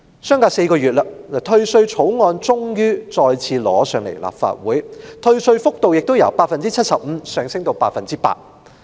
相隔4個月，退稅草案終於再次被提交到立法會，而退稅幅度亦由 75% 上升至 100%。